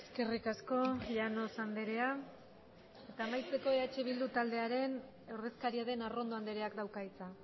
eskerrik asko llanos andrea eta amaitzeko eh bildu taldearen ordezkaria den arrondo andreak dauka hitza